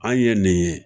An ye nin ye